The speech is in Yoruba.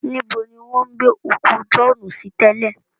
Níbo ni wọ́n gbé òkú Jọ̀ọ́ọ́nù sí tẹ́lẹ̀?